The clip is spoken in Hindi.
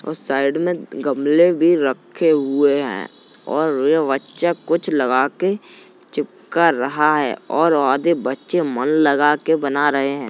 उस साइड में गमले भी रखे हुए हैं और वह बच्चा कुछ लगा के चिपका रहा है और आधे बच्चे मन लगा कर के बना रहे हैं।